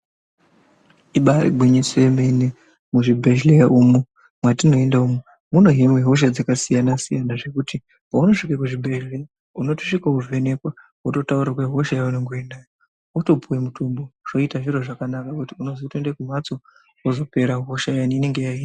Ibari gwinyiso remene muzvibhedhlera umo mwatinoenda umu munohiniwa hosha dzakasiyana siyana zvekuti paunosvika kuzvibhedhlera unosvika wovhenekwa wototaurirwa hosha yaunemge unayo wotopiwa mitombo zvoita zviro zvakanaka zvekuti unotoenda kumbatso wozopera hosha iyani inenga yahinwa.